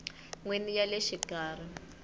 n wini ya le xikarhi